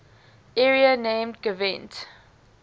area named gwent